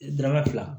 Dɔrɔmɛ fila